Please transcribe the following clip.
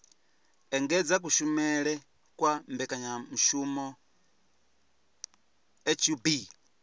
engedza kushumele kwa mbekanyamushumo hub